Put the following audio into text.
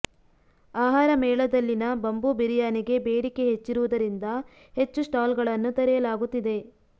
ಆಹಾರ ಮೇಳದಲ್ಲಿನ ಬಂಬೂ ಬಿರಿಯಾನಿಗೆ ಬೇಡಿಕೆ ಹೆಚ್ಚಿರುವುದರಿಂದ ಹೆಚ್ಚು ಸ್ಟಾಲ್ ಗಳನ್ನು ತೆರೆಯಲಾಗುತ್ತಿದೆ